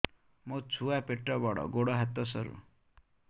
ମୋ ଛୁଆ ପେଟ ବଡ଼ ଗୋଡ଼ ହାତ ସରୁ